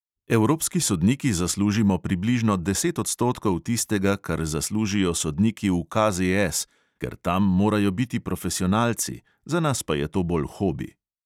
Evropski sodniki zaslužimo približno deset odstotkov tistega, kar zaslužijo sodniki v KZS, ker tam morajo biti profesionalci, za nas pa je to bolj hobi.